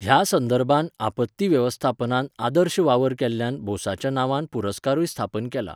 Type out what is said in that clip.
ह्या संदर्भांत, आपत्ती वेवस्थापनांत आदर्श वावर केल्ल्यान बोसाच्या नांवान पुरस्कारूय स्थापन केला.